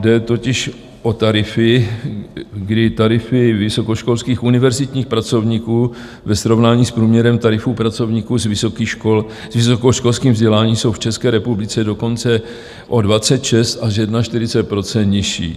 Jde totiž o tarify, kdy tarify vysokoškolských univerzitních pracovníků ve srovnání s průměrem tarifů pracovníků s vysokoškolským vzděláním jsou v České republice dokonce o 26 až 41 % nižší.